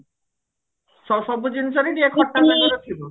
ସବୁ ଜିନିଷ ରେ ଟିକେ ଖଟା